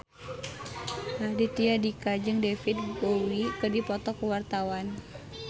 Raditya Dika jeung David Bowie keur dipoto ku wartawan